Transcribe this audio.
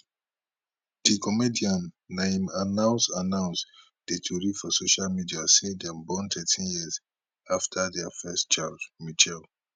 di comedian na im announce announce di tori for social media say dem born thirteen years afta dia first child michelle